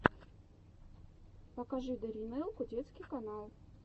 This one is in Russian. покажи даринелку детский канал